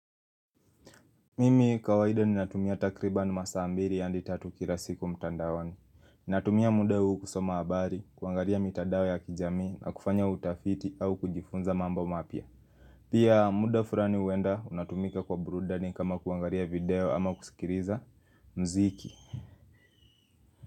Mimi kawaida ninatumia takriban masaa mbiri hadi tatu kila siku mtandaoni Ninatumia muda huu kusoma habari, kuangaria mitandao ya kijamii na kufanya utafiti au kujifunza mambo mapya Pia muda furani huenda unatumika kwa burudani kama kuangaria video ama kusikiriza mziki.